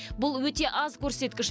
бұл өте аз көрсеткіш